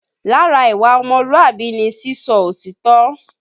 Lára ìwà ọmọlúàbí ni sísọ òtítọ́